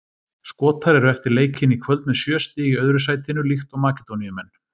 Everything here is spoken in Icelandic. Skotar eru eftir leikinn í kvöld með sjö stig í öðru sætinu líkt og Makedóníumenn.